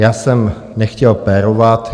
Já jsem nechtěl pérovat.